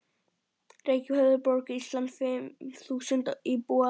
Reykjavík, höfuðborg Íslands, fimm þúsund íbúar.